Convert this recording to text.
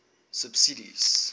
subsidies